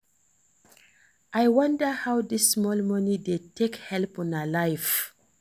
I wonder how dis small money dey take help una life